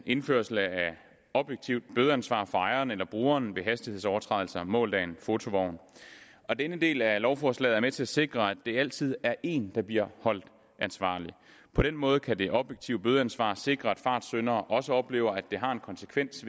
indførelsen af et objektivt bødeansvar for ejeren eller brugeren ved hastighedsovertrædelser målt af en fotovogn denne del af lovforslaget er med til at sikre at der altid er en der bliver holdt ansvarlig på den måde kan det objektive bødeansvar sikre at fartsyndere også oplever at det har en konsekvens